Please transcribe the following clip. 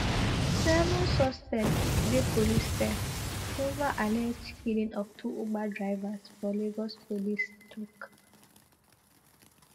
seven suspects dey police cell over alleged killing of two uber drivers for lagos police tok